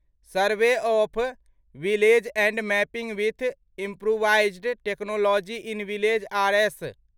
survey of village and mapping with improvised technology in village RS